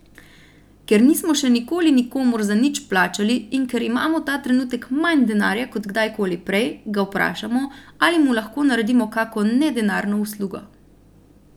Ker nismo še nikoli nikomur za nič plačali in ker imamo ta trenutek manj denarja kot kdajkoli prej, ga vprašamo, ali mu lahko naredimo kako nedenarno uslugo.